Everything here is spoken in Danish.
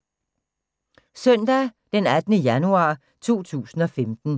Søndag d. 18. januar 2015